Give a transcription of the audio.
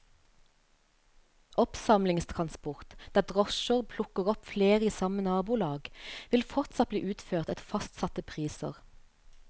Oppsamlingstransport, der drosjer plukker opp flere i samme nabolag, vil fortsatt bli utført etter fastsatte priser.